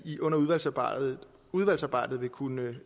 under udvalgsarbejdet udvalgsarbejdet vil kunne